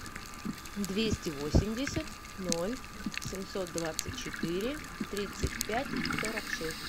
двести восемьдесят ноль семьсот двадцать четыре тридцать пять сорок шесть